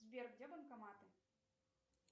сбер где банкоматы